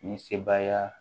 Ni sebaaya